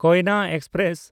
Koyna express